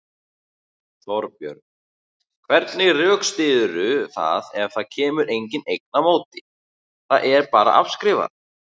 Þorbjörn: Hvernig rökstyðurðu það ef það kemur engin eign á móti, það er bara afskrifað?